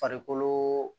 Farikolo